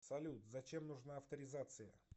салют зачем нужна авторизация